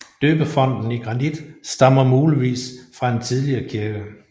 Døbefonten i granit stammer muligvis fra en tidligere kirke